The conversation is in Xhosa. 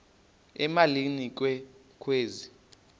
emalini ke kwezi